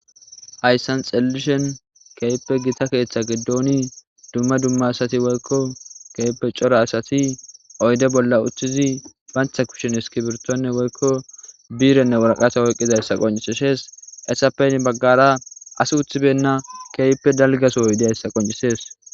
Duma duma asati woyiko corra assati oyide bolla utiddi banitta kushen iskirito woyiko birenenne wariqata oyikidayisa hessa ppe guye baggara assi utibena daligga sohoyi deyisa qoncises